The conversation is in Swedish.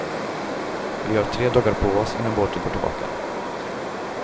Vi har tre dagar på oss innan båten går tillbaka.